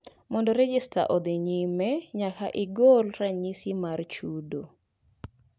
Mondo rejesta odhii nyime nyaka igol ranyisi mar chudo